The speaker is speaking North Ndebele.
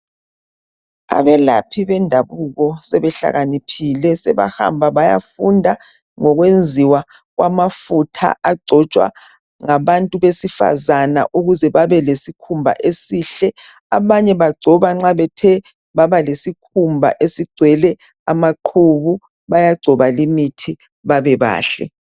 Abelaphi bendabuko sebehlakaniphile sebahamba bayafunda ngokwenziwa kwamafutha agcotshwa ngabantu besifazane ukuze babe lesikhumba esihle. Abanye bagcoba nxa bethe baba lesikhumba esigcwele amaqhubu bayagcoba imithi babe bahle.